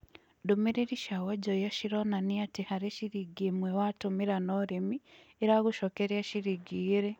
ndũmĩrĩrĩ cĩa wonjorĩa cĩronanĩa atĩ harĩ cĩrĩngĩ ĩmwe watũmĩra na ũrĩmĩ ĩragũcokerĩa cĩrĩngĩ ĩgĩrĩ